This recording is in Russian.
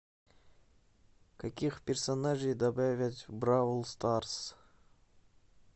каких персонажей добавят в бравл старс